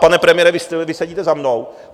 Pane premiére, vy sedíte za mnou.